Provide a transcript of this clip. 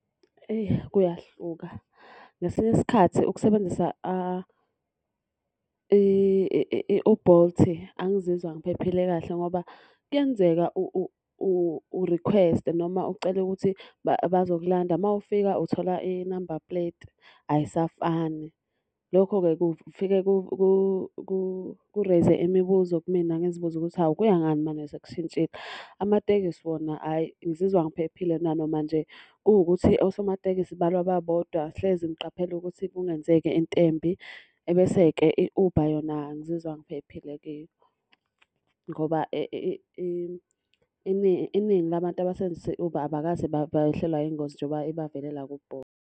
Eyi kuyahluka, ngesinye isikhathi ukusebenzisa u-Bolt angizizwa ngiphephile kahle ngoba kuyenzeka urikhweste noma ucele ukuthi bazokulanda uma ufika uthola inumber puleti ayisafani. Lokho-ke kufike kureyize imibuzo kumina ngizibuza ukuthi, hawu kuya ngani manje sekushintshile. Amatekisi wona hhayi ngizizwa ngiphephile nanoma nje kuwukuthi osomatekisi balwa babodwa hlezi ngiqaphela ukuthi kungenzeki into embi. Ebese-ke i-Uber yona ngizizwa ngiphephile kiyo, ngoba iningi la bantu abasebenzisa i-Uber abakaze behlelwa yingozi njengoba ibavelela ku-Bolt.